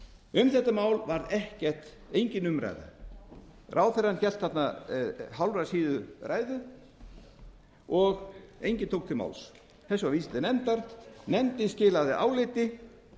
um þetta mál var engin umræða ráðherrann hélt þarna hálfrar síðu ræðu og enginn tók til máls þessu var vísað til nefndar nefndin skilaði áliti